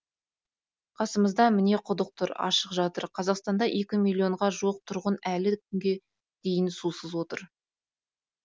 қасымызда міне құдық тұр ашық жатыр қазақстанда екі миллионға жуық тұрғын әлі күнге дейін сусыз отыр